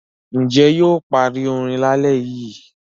Ǹjẹ́ yóò parí orin lálẹ́ yìí?